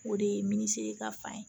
O de ye minisiri ka fan ye